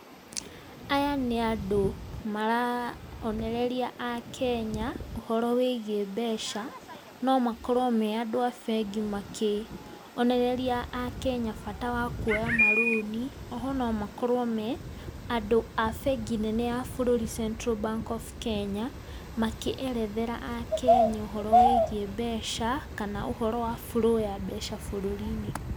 Aya nĩ andũ maronereria akenya ũhoro wĩgie mbeca, no makorwo marĩ andũ a bengi makĩonereria akenya bata wa kuoya marũni, oho no makorwo me andũ a bengi nene ya bũrũri Central Bank of Kenya, makĩerethera akenya ũhoro wĩgie mbeca, kana uhoro wa flow ya mbeca bũrũri-inĩ.